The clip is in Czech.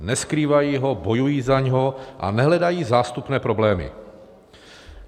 Neskrývají ho, bojují za něj a nehledají zástupné problémy.